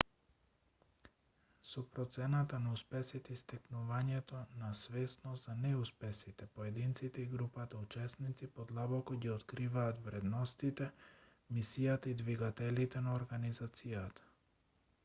со процената на успесите и стекнувањето свесност за неуспесите поединците и групата учесници подлабоко ги откриваат вредностите мисијата и двигателите на организацијата